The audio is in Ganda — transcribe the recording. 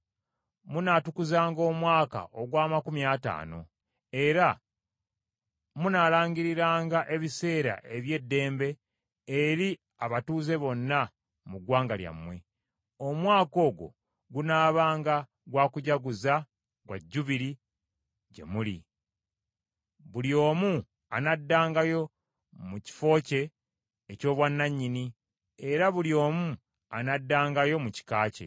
Munaatukuzanga omwaka ogw’amakumi ataano, era munaalangiriranga ebiseera eby’eddembe eri abatuuze bonna mu ggwanga lyammwe. Omwaka ogwo gunaabanga gwa kujaguza gwa Jjubiri gye muli; buli omu anaddangayo mu kifo kye eky’obwannannyini, era buli omu anaddangayo mu kika kye.